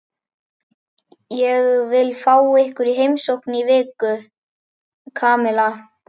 Ég vil fá ykkur í heimsókn í viku, Kamilla.